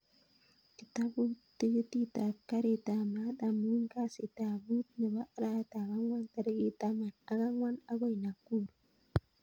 Kitabut tikitit ab karit ab maat amun kasit ab muut nebo arawetab ab ang'wan tarikit taman ak ang'wan agoi nakuru